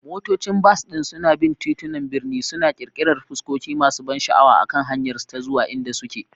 Motocin bas din suna bin titunan birni, suna ƙirƙirar fuskoki masu ban sha'awa akan hanyarsu ta zuwa inda suke.